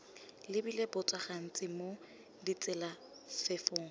lebile botso gantsi mo ditselafefong